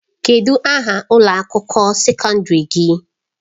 Kedu aha ụlọ akwụkwọ sekọndrị gị?